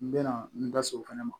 N bɛna n da so fɛnɛ ma